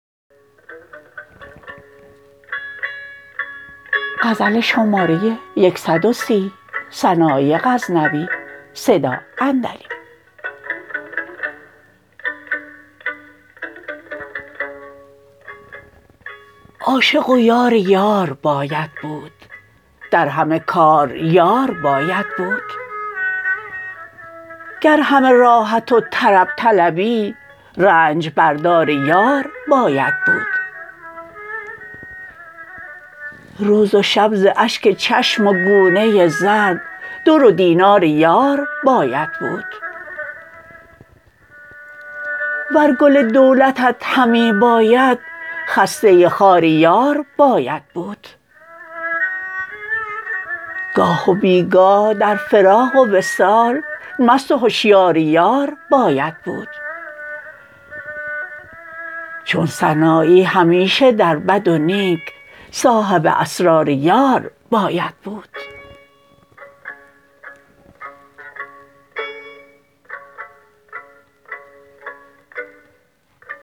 عاشق و یار یار باید بود در همه کار یار باید بود گر همه راحت و طرب طلبی رنج بردار یار باید بود روز و شب ز اشک چشم و گونه زرد در و دینار یار باید بود ور گل دولتت همی باید خسته خار یار باید بود گاه و بی گاه در فراق و وصال مست و هشیار یار باید بود چون سنایی همیشه در بد و نیک صاحب اسرار یار باید بود